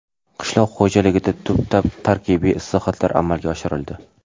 Qishloq xo‘jaligida tub tarkibiy islohotlar amalga oshirildi.